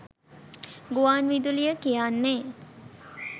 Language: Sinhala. ගුවන් විදුලිය කියන්නේ